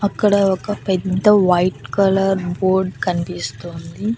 అక్కడ ఒక పెద్ద వైట్ కలర్ బోర్డ్ కన్పిస్తోంది.